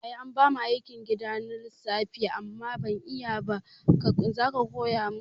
Yaya anbamu aikin gida na lissafi amma ban iyaba zaka koya min